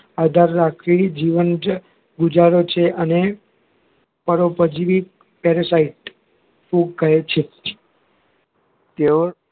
આધાર રાખી જીવન ગુજારે છે અને પરોપજીવી parasite ફૂગ કહે છે તેઓ